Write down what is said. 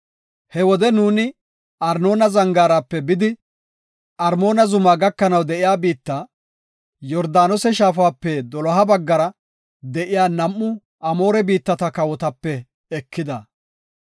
He wode nuuni Arnoona zangaarape bidi Armoona zumaa gakanaw de7iya biitta, Yordaanose Shaafape doloha baggara de7iya nam7u Amoore biittata kawotape ekida.